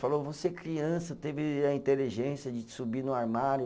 Falou, você criança teve a inteligência de subir no armário.